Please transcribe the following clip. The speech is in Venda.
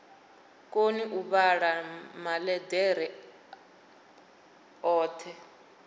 koni u vhala maḽeḓere oṱhe